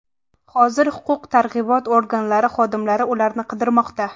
Hozir huquq-tartibot organlari xodimlari ularni qidirmoqda.